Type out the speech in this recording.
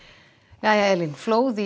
jæja Elín flóð í